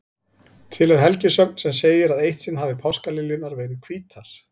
Til er helgisögn sem segir að eitt sinn hafi páskaliljurnar verið hvítar.